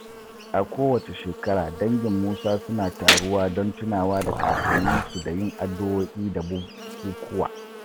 A kowace shekara, dangin Musa suna taruwa don tunawa da kakanninsu da yin addu’o’i da bukukkuwa.